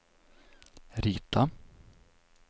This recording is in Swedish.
rita